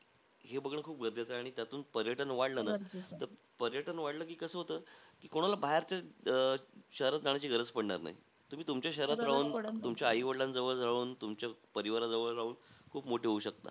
हे बघणं खूप गरजेचं आहे. आणि त्यातून पर्यटन वाढला ना. तर पर्यटन वाढला की कसं होतं, की कोणाला बाहेरचं अं शहरात जाण्याची गरज पडणार नाही. तुमच्या शहरात राहून, तुमच्या आई-वडीलांजवळ राहून, तुमच्या परिवाराजवळ राहून खूप मोठे होऊ शकतात.